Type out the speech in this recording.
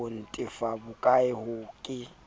ho ntefa bokae ha ke